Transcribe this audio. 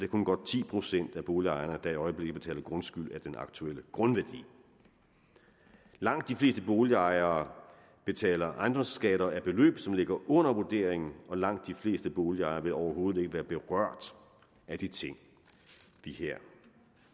kun godt ti procent af boligejerne der i øjeblikket betaler grundskyld af den aktuelle grundværdi langt de fleste boligejere betaler ejendomsskatter af beløb som ligger under vurderingen og langt de fleste boligejere vil overhovedet ikke være berørt af de ting vi her